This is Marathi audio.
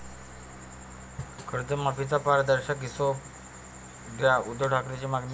कर्जमाफीचा 'पारदर्शक' हिशेब द्या, उद्धव ठाकरेंची मागणी